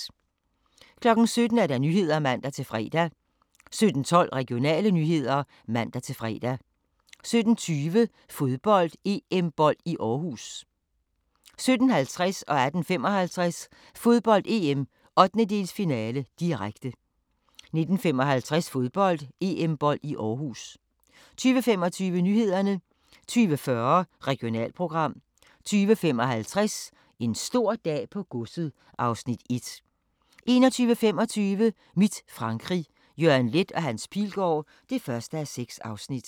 17:00: Nyhederne (man-fre) 17:12: Regionale nyheder (man-fre) 17:20: Fodbold: EM-bold i Aarhus 17:50: Fodbold: EM - 1/8-finale, direkte 18:55: Fodbold: EM - 1/8-finale, direkte 19:55: Fodbold: EM-bold i Aarhus 20:25: Nyhederne 20:40: Regionalprogram 20:55: En stor dag på godset (Afs. 1) 21:25: Mit Frankrig – Jørgen Leth & Hans Pilgaard (1:6)